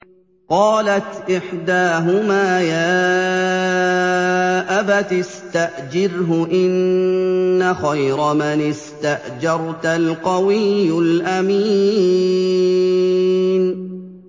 قَالَتْ إِحْدَاهُمَا يَا أَبَتِ اسْتَأْجِرْهُ ۖ إِنَّ خَيْرَ مَنِ اسْتَأْجَرْتَ الْقَوِيُّ الْأَمِينُ